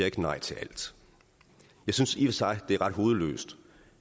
ikke nej til alt jeg synes i sig det er ret hovedløst